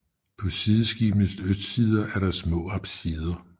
På sideskibenes østsider er der små apsider